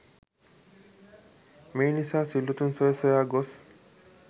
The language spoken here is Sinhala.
මේ නිසා සිල්වතුන් සොය සොයා ගොස්